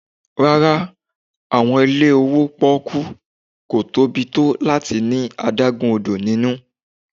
Rara, awọn ile owo pónkú, ko tobi to lati ni adagun odo ninu.